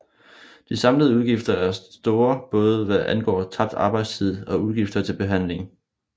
De samlede udgifter er store både hvad angår tabt arbejdstid og udgifter til behandling